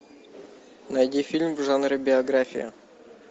найди фильм в жанре биография